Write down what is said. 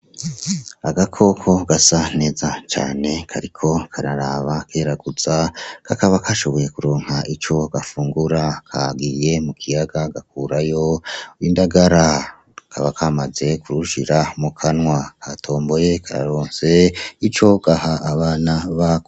Agakoko gasa neza cane kariko kararaba kareraguza kakaba kashoboye kuronka ico gafungura kagiye mukiyaga gakurayo indagara kakaba kamaze kurushira mukanwa karatomboye kararonse ico gaha abana bako.